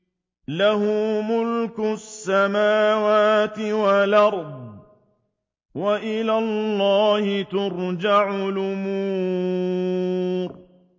لَّهُ مُلْكُ السَّمَاوَاتِ وَالْأَرْضِ ۚ وَإِلَى اللَّهِ تُرْجَعُ الْأُمُورُ